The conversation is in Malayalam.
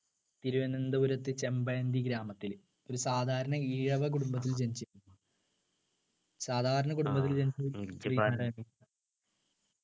തിരുവനന്തപുരത്ത് ചെമ്പഴന്തി ഗ്രാമത്തിൽ ഒരു സാധാരണ ഈഴവ കുടുംബത്തിൽ ജനിച്ചു സാധാരണ കുടുംബത്തിൽ ജനിച്ചു